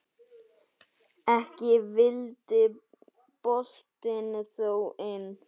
Ekki vildi boltinn þó inn.